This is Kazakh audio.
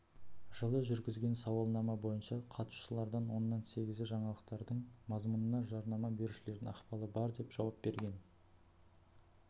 жылы жүргізген сауалнама бойынша қатысушылардың оннан сегізі жаңалықтардың мазмұнына жарнама берушілердің ықпалы бар деп жауап берген